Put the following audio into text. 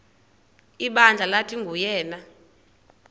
ibandla lathi nguyena